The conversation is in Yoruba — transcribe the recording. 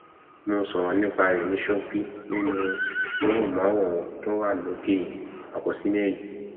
mo sọrọ nípa rẹ ní ṣókí nínú móhùnmáwòrán tó wà lókè àkọslẹ yìí